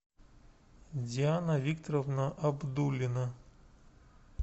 диана викторовна абдуллина